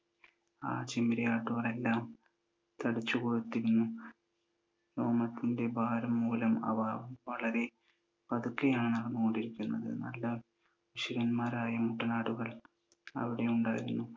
ആ ചെമ്മരിയാടുകളെല്ലാം തടിച്ചു കൊഴുത്തിരുന്നു. രോമത്തിൻ്റെ ഭാരം മൂലം അവ വളരെ പതുക്കെയാണ് ഓടിയിരുന്നത്. നല്ല ക്ഷേമന്മാരായ മുട്ടനാടുകൾ അവിടെയുണ്ടായിരുന്നു.